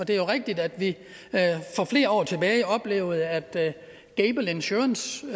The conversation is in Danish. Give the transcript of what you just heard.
det er jo rigtigt at vi for flere år tilbage oplevede at gable insurance